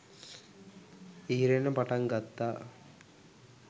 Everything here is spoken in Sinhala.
ඉහිරෙන්න පටන් ගත්තා.